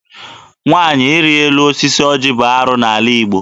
Nwaanyị ịrị elu osisi ọjị bụ arụ n'ala Igbo.